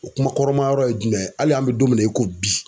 O kuma kɔrɔma yɔrɔ ye jumɛn ye hali an bɛ don min na i ko bi.